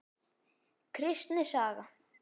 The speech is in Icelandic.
Kristni saga.